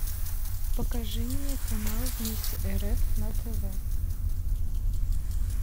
покажи мне канал вместе рф на тв